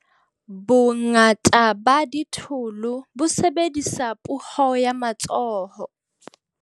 Bongata ba ditholo bo sebedisa puo ya matsoho.